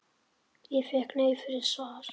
Og fékk nei fyrir svar?